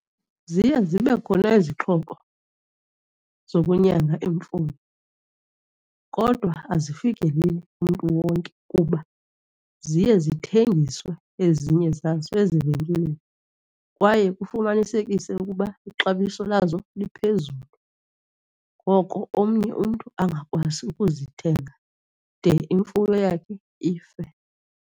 Ziye zibe khona izixhobo zokunyanga imfuyo kodwa azifikeleli kumntu wonke kuba ziye zithengiswe ezinye zazo ezivenkileni kwaye kufumaniseke ukuba ixabiso lazo liphezulu. Ngoko omnye umntu angakwazi ukuzithenga de imfuyo yakhe ife.